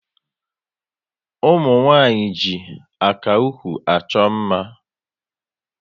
Umunwanyi ji aka ụkwụ achọ mma